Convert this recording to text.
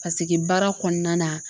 Paseke baara kɔnɔna na